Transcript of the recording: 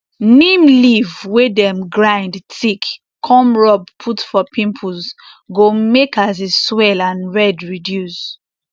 neem leaf wey dem grind thick come rub put for pimples go make as e swell and red reduce